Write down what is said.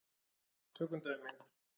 Tökum dæmi.